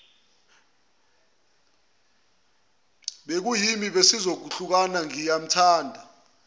bekuyimi besizohlukana ngiyamthanda